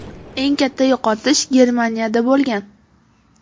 Eng katta yo‘qotish Germaniyada bo‘lgan.